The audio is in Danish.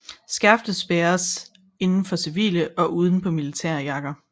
Skærfet bæres inden for civile og uden på militære jakker